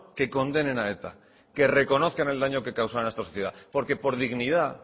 que condenen a eta que reconozcan el daño que causaron a esta sociedad porque por dignidad